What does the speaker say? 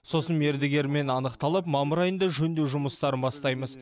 сосын мердігермен анықталып мамыр айында жөндеу жұмыстарын бастаймыз